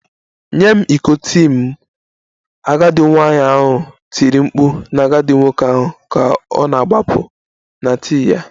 Nye m iko tii m! Agadi nwanyị ahụ tiri mkpu na agadi nwoke ahụ ka ọ na-agbapụ na tii ya